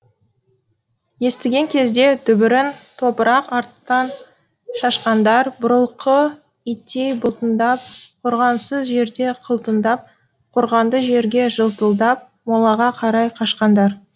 естіген кезде дүбірін топырақ арттан шашқандар бұрылқы иттей бұлтыңдап қорғансыз жерде қылтыңдап қорғанды жерде жылтылдап молаға қарай қашқандар